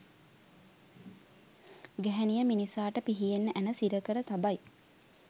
ගැහැණිය මිනිසාට පිහියෙන් ඇණ සිරකර තබයි